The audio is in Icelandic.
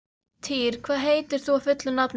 Týr, hvað heitir þú fullu nafni?